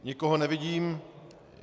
Nikoho nevidím.